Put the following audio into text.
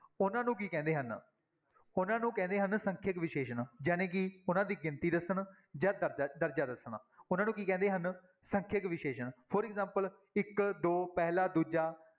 ਉਹਨਾਂ ਨੂੰ ਕੀ ਕਹਿੰਦੇ ਹਨ, ਉਹਨਾਂ ਨੂੰ ਕਹਿੰਦੇ ਹਨ ਸੰਖਿਅਕ ਵਿਸ਼ੇਸ਼ਣ ਜਾਣੀ ਕਿ ਉਹਨਾਂ ਦੀ ਗਿਣਤੀ ਦੱਸਣ ਜਾਂ ਦਰਜ਼ਾ, ਦਰਜ਼ਾ ਦੱਸਣ, ਉਹਨਾਂ ਨੂੰ ਕੀ ਕਹਿੰਦੇ ਹਨ, ਸੰਖਿਅਕ ਵਿਸ਼ੇਸ਼ਣ for example ਇੱਕ, ਦੋ, ਪਹਿਲਾ, ਦੂਜਾ,